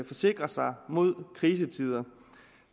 forsikre sig mod krisetider og